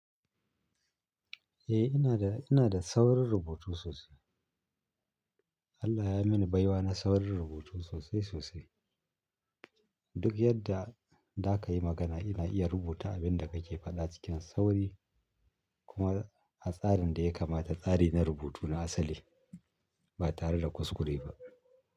Eh ina da, ina da saurin rubutu sosai. Allah ya yi mini baiwa na saurin rubutu sosai sosai. Duk yadda zakayi magana ina iya rubuta abinda kake fada cikin sauri kuma a tsarin da ya kamata, tsari na rubutu na asali ba tare da kuskure ba.